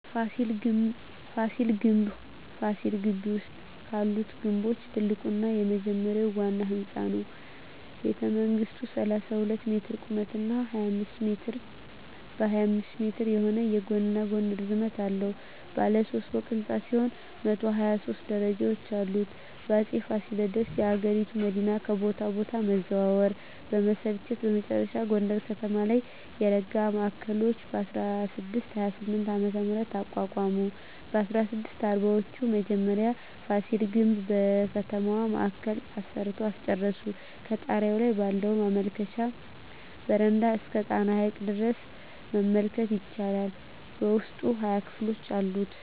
ፋሲል ግምብ ፋሲል ግቢ ውስጥ ካሉት ግምቦች ትልቁና የመጀመሪያው ዋና ህንጻ ነው። ቤተመንግሥቱ 32 ሜትር ቁመት እና 25 ሜትር በ25 ሜትር የሆነ የጎንና ጎን ርዝመት አለው። ባለ ሦስት ፎቅ ሕንፃ ሲሆን 123 ደረጃዎች አሉት። አጼ ፋሲለደስ የአገሪቱ መዲናን ከቦታ ቦታ መዛወር በመሰልቸት በመጨረሻ ጎንደር ከተማ ላይ የረጋ ማዕከል በ1628ዓ.ም. አቋቋሙ። በ1640ወቹ መጀመሪያ ፋሲል ግምብን በከተማው ማዕከል አሰርተው አስጨረሱ። ከጣሪያው ላይ ባለው መመልከቻ በረንዳ እስከ ጣና ሐይቅ ድረስ መመልከት ይቻላል። በውስጡ 20 ክፍሎች አሉት።